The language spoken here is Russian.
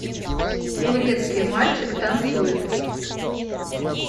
турецкий мальчик танцует